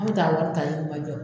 An bi taa wari taa yirimajɔ